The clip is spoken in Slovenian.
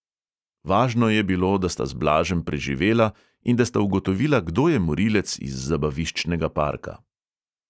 Važno je bilo, da sta z blažem preživela in da sta ugotovila, kdo je morilec iz zabaviščnega parka.